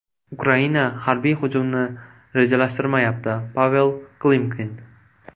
Ukraina harbiy hujumni rejalashtirmayapti Pavel Klimkin.